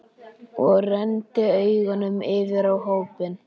Og renndi augunum yfir á hópinn.